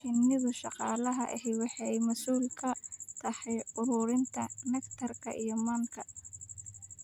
Shinida shaqalaha ahi waxay masuul ka tahay ururinta nectar iyo manka.